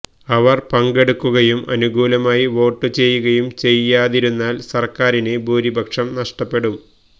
അവര് പങ്കെടുക്കുകയും അനുകൂലമായി വോട്ട് ചെയ്യുകയും ചെയ്യാതിരുന്നാല് സര്ക്കാരിന് ഭൂരിപക്ഷം നഷ്ടപ്പെടും